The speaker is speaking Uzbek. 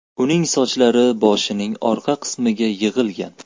Uning sochlari boshining orqa qismiga yig‘ilgan.